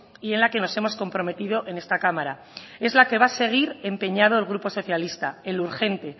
y en la que nos hemos comprometido en esta cámara es la que va a seguir empeñado el grupo socialista en lo urgente